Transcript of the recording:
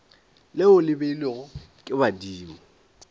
leo le beilwego ke badimo